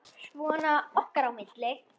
Svona okkar á milli.